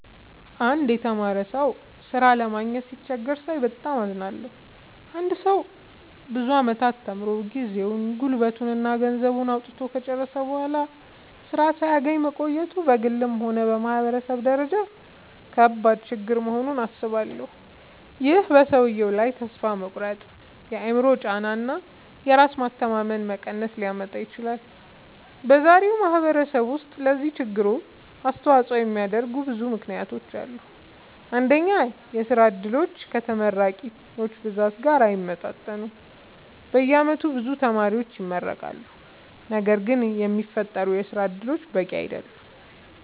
አንድ የተማረ ሰው ሥራ ለማግኘት ሲቸገር ሳይ በጣም አዝናለሁ። አንድ ሰው ብዙ ዓመታት ተምሮ፣ ጊዜውን፣ ጉልበቱን እና ገንዘቡን አውጥቶ ከጨረሰ በኋላ ሥራ ሳያገኝ መቆየቱ በግልም ሆነ በማህበረሰብ ደረጃ ከባድ ችግር መሆኑን አስባለሁ። ይህ በሰውየው ላይ ተስፋ መቁረጥ፣ የአእምሮ ጫና እና የራስ መተማመን መቀነስ ሊያመጣ ይችላል። በዛሬው ማህበረሰብ ውስጥ ለዚህ ችግር አስተዋጽኦ የሚያደርጉ ብዙ ምክንያቶች አሉ። አንደኛ፣ የሥራ ዕድሎች ከተመራቂዎች ብዛት ጋር አይመጣጠኑም። በየዓመቱ ብዙ ተማሪዎች ይመረቃሉ፣ ነገር ግን የሚፈጠሩ የሥራ እድሎች በቂ አይደሉም።